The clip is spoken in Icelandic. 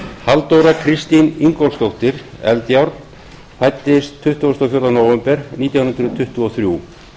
halldóra kristín ingólfsdóttir eldjárn fæddist tuttugasta og fjórða nóvember nítján hundruð tuttugu og þrjú